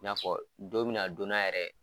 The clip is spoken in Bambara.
I n'a fɔ don be na don na yɛrɛ